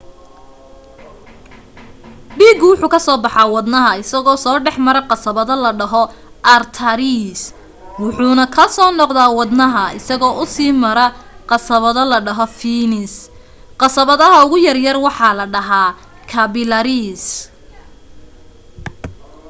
dhiigu wuxuu kazoo baxaa wadnaha isoo dhexmara qasabado la dhaho artariis wuxuuna kusoo noqdaa wadnaha isagoo usii mara qasabado la dhaho fiinis qasabadaha ugu yaryar waxaa la dhahaa kaabilariis